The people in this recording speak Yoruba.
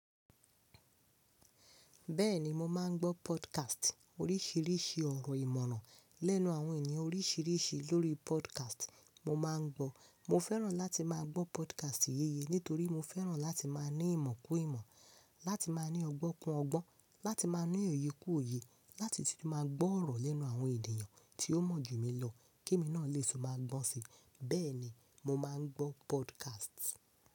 Bẹ́ẹ̀ni mo máa ń gbọ́ podcast, oríṣiríṣi ọ̀rọ̀ ìmọ̀ràn lẹ́nu àwọn ènìyàn oríṣiríṣi lórí podcast. Mo máa ń gbọ́, mo fẹ́ràn láti máa gbọ́ podcast yéye nítorí mo fẹ́ràn láti máa ní ìmọ̀ kún ìmọ̀, láti máa ní ọgbọ́n kún ọgbọ́n, láti máa ní òye kún òye, láti sì máa gbọ́ ọ̀rọ̀ lẹ́nu àwọn ènìyàn tí ó mọ̀ jù mi lọ kí emi náà lè tún máa gbọ́n si. Bẹ́ẹ̀ni mo máa ń gbọ́ podcast.